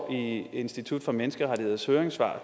i institut for menneskerettigheders høringssvar